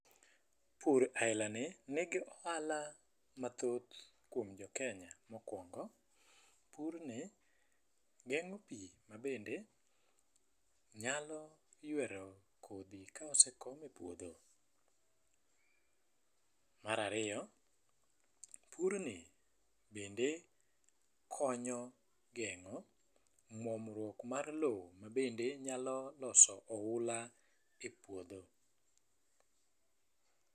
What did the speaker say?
Pur aila ni nigi ohala mathoth kuom jokenya. Mokwongo, purni geng'o pii mabende nyalo ywero kodhi kaose kom e puodho. Marario, purni bende konyo geng'o muomruok mar loo mabende nyalo loso oula e puodho.